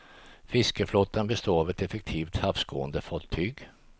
Fiskeflottan består av effektiva havsgående fartyg.